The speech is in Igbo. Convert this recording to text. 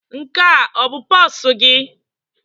Nke a ọ bụ pusi gị?